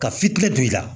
Ka fitinɛ don i la